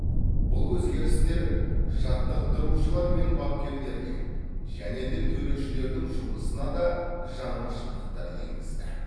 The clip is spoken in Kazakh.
бұл өзгерістер жаттықтырушылар мен бапкерлерге және де төрешілердің жұмысына да жаңашылдықтар енгізді